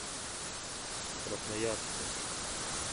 красноярску